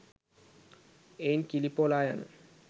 එයින් කිලි පොලායන